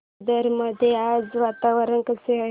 पुरंदर मध्ये आज वातावरण कसे आहे